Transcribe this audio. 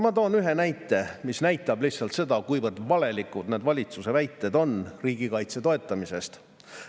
Ma toon ühe näite, mis näitab lihtsalt seda, kuivõrd valelikud on valitsuse väited riigikaitse toetamisest.